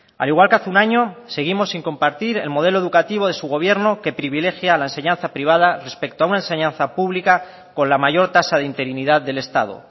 al igual que hace un año seguimos sin compartir el modelo educativo de su gobierno que privilegia a la enseñanza privada respecto a una enseñanza pública con la mayor tasa de interinidad del estado